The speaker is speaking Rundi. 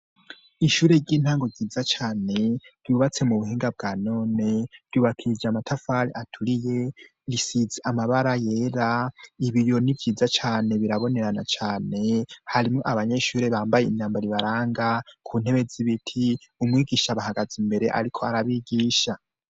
Ishure ry'intango ryiza cane ryubatse mu buhinga bwa none ryubakishije amatafari aturiye risize amabara yera, ibiyo ni vyiza cane birabonerana cane, harimwo abanyeshure bambaye imyambaro ibaranga. Ku ntebe z'ibiti umwigisha abahagaze imbere ariko arabigisha.